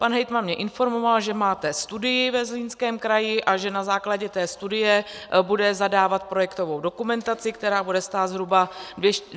Pan hejtman mě informoval, že máte studii ve Zlínském kraji a že na základě té studie bude zadávat projektovou dokumentaci, která bude stát zhruba 200 až 300 milionů.